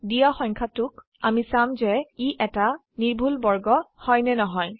দিয়া সংখয়াটোক আমি চাম যে ই এটা নিৰ্ভুল বৰ্গ হয় নে নহয়